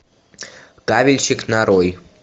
кабельщик нарой